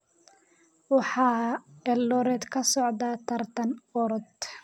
waxaa eldoret ka socda tartan orod